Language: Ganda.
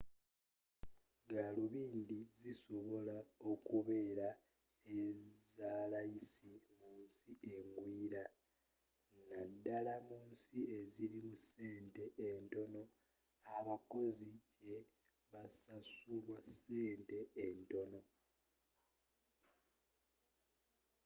galubindi zisobola okubeera ezalayisi mu nsi engwira naddala mu nsi ezirimu sente entono abakozi jebabasasulira sente entono